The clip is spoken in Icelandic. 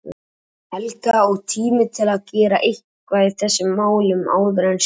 Helga, og tími til að gera eitthvað í þessum málum áður en sjálfur